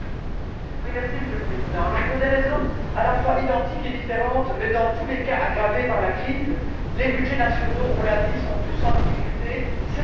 Monsieur le Président, pour des raisons à la fois identiques et différentes mais, dans tous les cas, aggravées par la crise, les budgets nationaux ont l'a dit sont tous en difficulté, c'est une évidence.